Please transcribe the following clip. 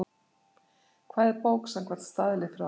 Hvað er bók samkvæmt staðli frá